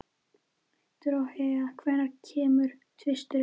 Dorothea, hvenær kemur tvisturinn?